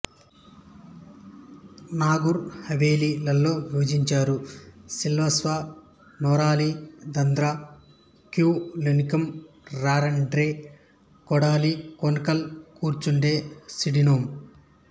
నాగర్ హవేలి లలో విభజించారు సిల్వాస్సా నోరోలి దాద్రా క్యూలలునిమ్ రాండే డారారే కాడోలి కానోల్ కార్చొండే సిండోనిమ్